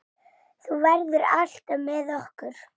Þú verður alltaf með okkur.